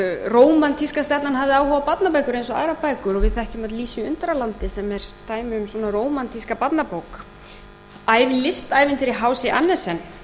rómantíska stefnan hafði áhrif á barnabækur eins og aðrar bækur og við þekkjum öll lísu í undralandi sem er dæmi um svona rómantíska barnabók bæði listævintýri hc andersen sem